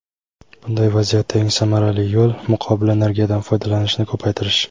Bunday vaziyatda eng samarali yo‘l – muqobil energiyadan foydalanishni ko‘paytirish.